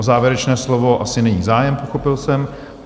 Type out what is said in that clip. O závěrečné slovo asi není zájem, pochopil jsem.